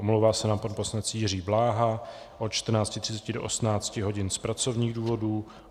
Omlouvá se nám pan poslanec Jiří Bláha od 14.30 do 18.00 hodin z pracovních důvodů.